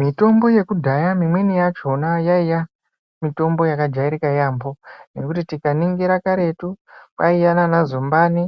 Mitombo yekudhaya mimweni yacho yaiya mitombo yakajairika yaambo nekuti tikaningira karetu kwaiya nanazumbani